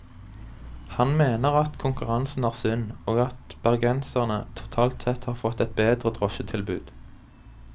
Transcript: Han mener at konkurransen er sunn, og at bergenserne totalt sett har fått et bedre drosjetilbud.